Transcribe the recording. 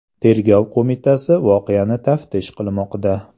Tergov qo‘mitasi voqeani taftish qilmoqda.